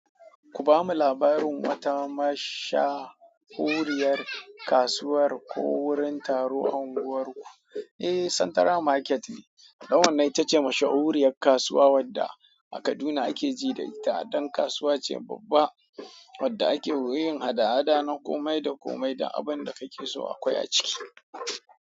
Ku bamu labarin wata mashahuriyar kasuwar ko wurin taro a unguwarku. Eh, Santara Market ne. Dan wannan ita ce mashahuriyar kasuwa wadda a Kaduna ake ji da ita. Dan kasuwa ce babba wadda ake yin hada-hada na kome da kome da abin da kake so akwai a ciki.